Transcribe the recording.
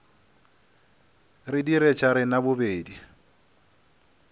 re dire tša rena bobedi